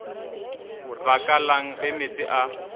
baka lang ge meetse a